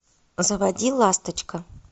заводи ласточка